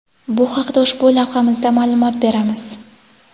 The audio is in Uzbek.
Bu haqda ushbu lavhamizda ma’lumot beramiz.